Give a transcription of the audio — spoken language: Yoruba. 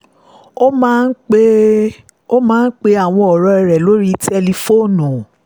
ó máa ń pe àwọn ọ̀rẹ́ rẹ̀ lórí tẹlifóònù